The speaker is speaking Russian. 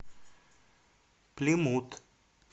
плимут